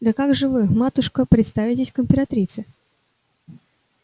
да как же вы матушка представитесь к императрице